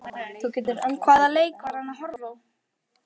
Hvaða leik var hann að horfa á?